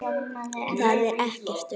Þar er ekkert ör.